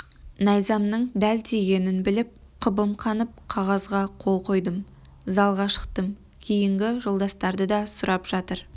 найзамның дәл тигенін біліп қыбым қанып қағазға қол қойдым залға шықтым кейінгі жолдастарды да сұрап жатыр